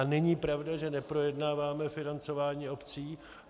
A není pravda, že neprojednáváme financování obcí.